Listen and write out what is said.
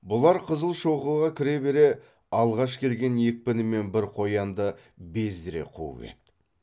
бұлар қызылшоқыға кіре бере алғаш келген екпінімен бір қоянды бездіре қуып еді